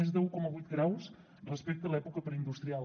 més d’un coma vuit graus respecte l’època preindustrial